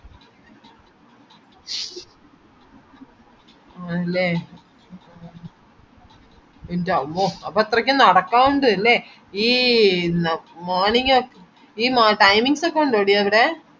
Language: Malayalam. ആണ്ലെ ന്റമ്മോ അപ്പൊ ഇത്രക്ക് നടക്കാനുണ്ട്‌ ലെ ഈ ന morning timings ഒക്കെ ഉണ്ടോടി അവിടെ